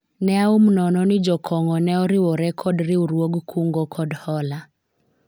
ne aum nono ni jakong'o no ne oriwore kod riwruog kungo kod hola